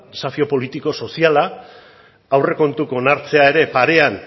desafio politiko soziala aurrekontuak onartzea ere parean